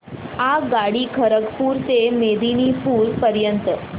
आगगाडी खरगपुर ते मेदिनीपुर पर्यंत